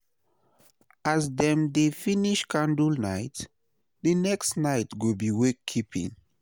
as dem dey finish candlenite, di next nite go bi wakekeeping